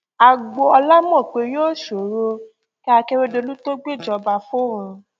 agboọla mọ̀ pé yóò sòro kí akérèdolù tó gbéjọba fóun